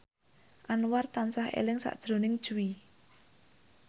Anwar tansah eling sakjroning Jui